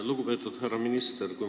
Lugupeetud härra minister!